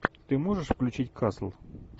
ты можешь включить касл